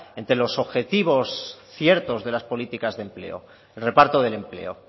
entre los objetivos ciertos de las políticas de empleo el reparto del empleo